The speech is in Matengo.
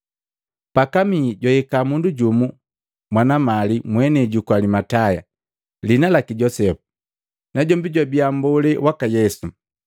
Pakamihi jwahika mundu jumu mwana mali mwenei juku Alimatayo, liina laki Josepu. Najombi jwabia mbolee waka Yesu.